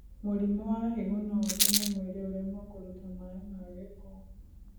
Mũrimũ wa higo noũtũme mwĩrĩ ũremwo kũruta maĩ ma giko